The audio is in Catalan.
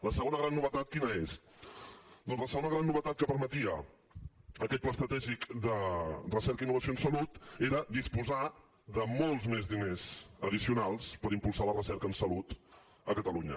la segona gran novetat quina és doncs la segona gran novetat que permetia aquest pla estratègic de recerca i innovació en salut era disposar de molts més diners addicionals per impulsar la recerca en salut a catalunya